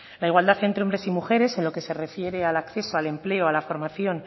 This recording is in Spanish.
la igualdad entre hombres y mujeres en lo que se refiere al acceso al empleo a la formación